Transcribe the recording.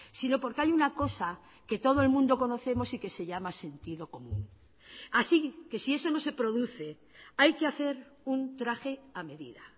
sino porque hay una cosa que todo el mundo conocemos y que se llama sentido común así que si eso no se produce hay que hacer un traje a medida